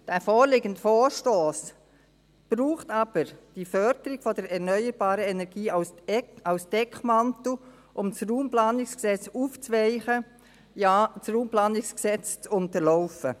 Der vorliegende Vorstoss braucht aber die Förderung der erneuerbaren Energie als Deckmantel, um das RPG aufzuweichen – ja, um das RPG zu unterlaufen.